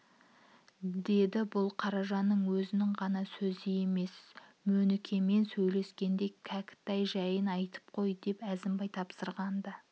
деді бұл қаражанның өзінің ғана сөзі емес мөнікемен сөйлескенде кәкітай жайын айтып қой деп әзімбай тапсырған-ды